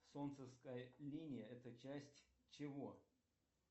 солнцевская линия это часть чего